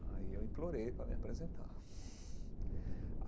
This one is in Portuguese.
Aí eu implorei para me apresentar.